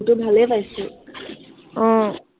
আহ